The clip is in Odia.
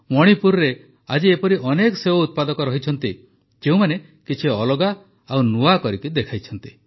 ମଣିପୁରରେ ଆଜି ଏପରି ଅନେକ ସେଓ ଉତ୍ପାଦକ ଅଛନ୍ତି ଯେଉଁମାନେ କିଛି ଅଲଗା ଓ ନୂଆ କରିକି ଦେଖାଇଛନ୍ତି